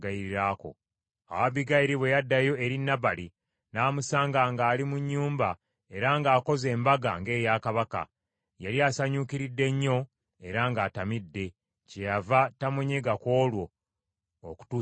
Awo Abbigayiri bwe yaddayo eri Nabali, n’amusanga ng’ali mu nnyumba, era ng’akoze embaga, ng’eya kabaka. Yali asanyuukiridde nnyo, era ng’atamidde, kyeyava tamunyega ku olwo, okutuusa enkeera.